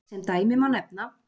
Sem dæmi má nefna: